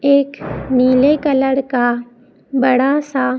एक नीले कलर का बड़ा सा--